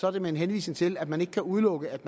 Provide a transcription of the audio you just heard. er det med en henvisning til at man ikke kan udelukke at